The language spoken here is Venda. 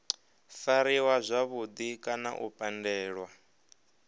fariwa zwavhudi kana u pandelwa